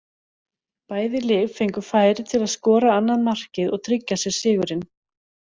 Bæði lið fengu færi til að skora annað markið og tryggja sér sigurinn.